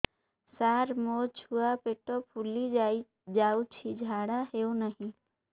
ସାର ମୋ ଛୁଆ ପେଟ ଫୁଲି ଯାଉଛି ଝାଡ଼ା ହେଉନାହିଁ